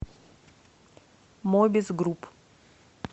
мобис групп